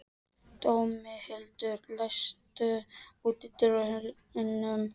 Dómhildur, læstu útidyrunum.